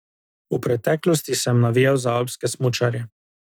V preteklosti sem navijal za alpske smučarje.